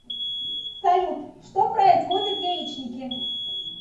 салют что производят яичники